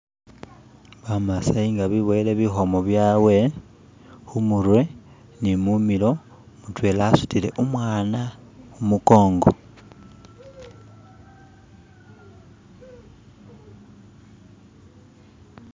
bamasayi nga beboyele bihomo byabwe humurwe ni mumilo mutwela asutile umwana humukongo